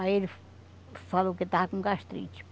Aí ele falou que ele estava com gastrite.